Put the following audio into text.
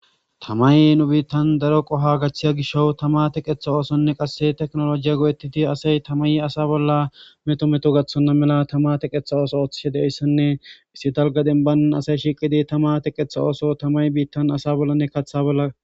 tamay nu biittan daro qoha gachthiya gisho tama teqetha oosonne qasse teknolojiya go7ettiti asey tamay asa bolla meto meto gathonna mela tama teqetha ooso ooththishe deyssenne issi dalgadenban asay shiqidi tama teqetha ooso tamay biittan asa bollanne kaththa bolla